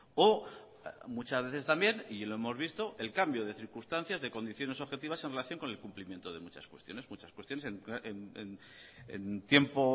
o muchas veces también y lo hemos visto el cambio de circunstancias de condiciones objetivas en relación con el cumplimiento de muchas cuestiones en tiempo